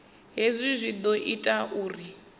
hezwi zwi ḓo ita uri